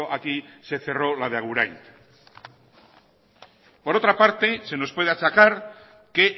aquí se cerró la de agurain por otra parte se nos puede achacar que